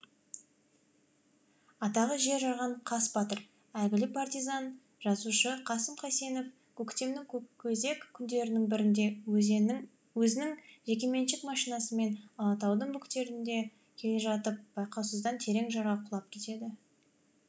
атағы жер жарған қас батыр әйгілі партизан жазушы қасым қайсенов көктемнің көкөзек күндерінің бірінде өзінің жекеменшік машинасымен алатаудың бөктерінде келе жатып байқаусызда терең жарға құлап кетеді